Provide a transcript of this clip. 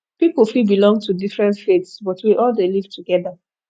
pipo fit belong to different faiths but we all dey live together